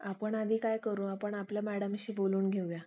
आपण आधी काय करू आपण आपल्या मॅडमशी बोलून घेऊया